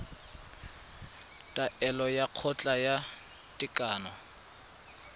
taolo ya kgotla ya tekano